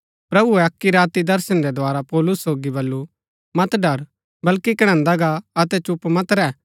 प्रभुऐ अक्की राती दर्शन रै द्धारा पौलुस सोगी बल्लू मत ड़र बल्कि कणैन्दा गा अतै चुप मत रैह